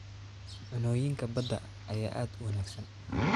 Cunnooyinka badda ayaa aad u wanaagsan.